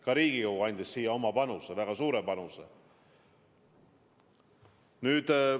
Ka Riigikogu andis siin oma panuse, väga suure panuse.